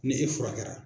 Ni e furakɛra